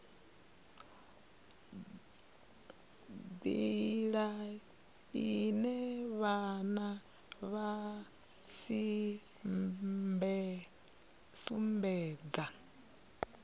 nḓila ine vhana vha sumbedza